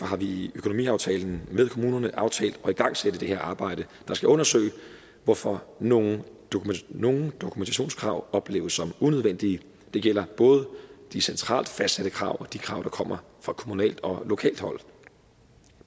har vi i økonomiaftalen med kommunerne aftalt at igangsætte det her arbejde der skal undersøge hvorfor nogle nogle dokumentationskrav opleves som unødvendige det gælder både de centralt fastsatte krav og de krav der kommer fra kommunalt og lokalt hold